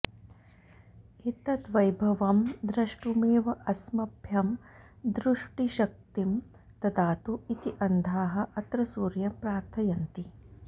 एतद् वैभवं द्रष्टुमेव अस्मभ्यं दृष्टिशक्तिं ददातु इति अन्धाः अत्र सूर्यं प्रार्थयन्ति